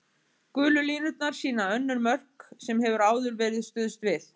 Gulu línurnar sýna önnur mörk sem hefur áður verið stuðst við.